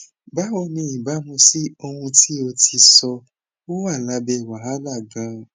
bawo ni ibamu si ohun ti o ti sọ o wa labe wahala ganan